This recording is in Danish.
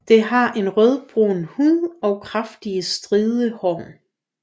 Det har en rødbrun hud og kraftige stride hår